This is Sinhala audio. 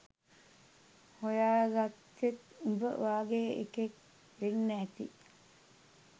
හොයාගත්තෙත් උඹ වගේ එකෙක් වෙන්න ඇති